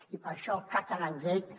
i per això catalangate